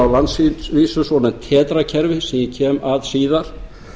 á landsvísu svo nefnt tetra kerfi sem ég kem að síðar